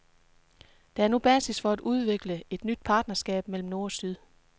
Der er nu basis for at udvikle et nyt partnerskab mellem nord og syd.